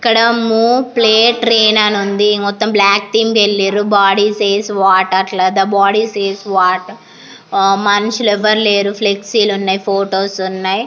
ఇక్కడ move play train అని ఉంది మొత్తం బ్లాక్ తీమ్ ఎల్లిర్రు బాడీ సేస్ వాట్ ? అట్ల ద బాడీ సేస్ వాట్ మనుషులు ఎవ్వరు లేరు ఫ్లెక్సీ లు ఉన్నాయి ఫొటోస్ ఉన్నాయి.